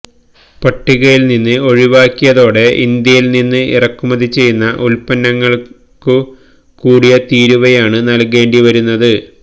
പട്ടികയില്നിന്ന് ഒഴിവാക്കിയതോടെ ഇന്ത്യയില്നിന്ന് ഇറക്കുമതി ചെയ്യുന്ന ഉല്പന്നങ്ങള്ക്കു കൂടിയ തീരുവയാണു നല്കേണ്ടിവരുന്നത്